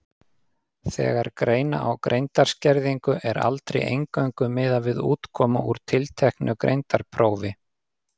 Þegar greina á greindarskerðingu er aldrei eingöngu miðað við útkomu úr tilteknu greindarprófi.